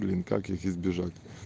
блин как их избежать